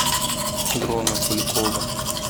дрона куликова